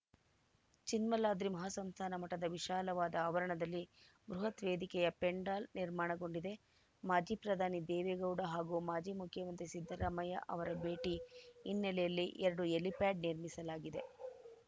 ಚಿನ್ಮಾಲಾದ್ರಿ ಮಹಾಸಂಸ್ಥಾನ ಮಠದ ವಿಶಾಲವಾದ ಆವರಣದಲ್ಲಿ ಬೃಹತ್‌ ವೇದಿಕೆಯ ಪೆಂಡಾಲ್‌ ನಿರ್ಮಾಣಗೊಂಡಿದೆ ಮಾಜಿ ಪ್ರಧಾನಿ ದೇವೇಗೌಡ ಹಾಗೂ ಮಾಜಿ ಮುಖ್ಯಮಂತ್ರಿ ಸಿದ್ದರಾಮಯ್ಯ ಅವರ ಬೇಟಿ ಹಿನ್ನೆಲೆಯಲ್ಲಿ ಎರಡು ಹೆಲಿಪ್ಯಾಡ್‌ ನಿರ್ಮಿಸಲಾಗಿದೆ